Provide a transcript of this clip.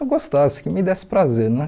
Eu gostasse, que me desse prazer, né?